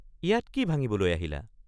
ইয়াত কি ভাঙিবলৈ আহিলা?